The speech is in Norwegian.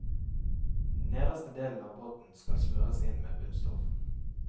Nederste delen av båten skal smøres inn med bunnstoff.